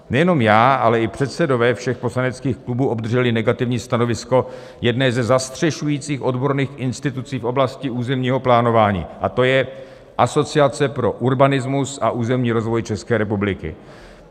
Nejenom já, ale i předsedové všech poslaneckých klubů obdrželi negativní stanovisko jedné ze zastřešujících odborných institucí v oblasti územního plánování, a to je Asociace pro urbanismus a územní rozvoj České republiky.